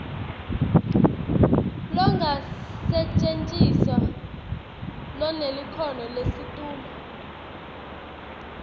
longakasetjentiswa lonelikhono lelisetulu